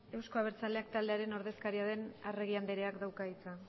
euzko abertzaleak taldearen ordezkaria den arregi andereak dauka hitza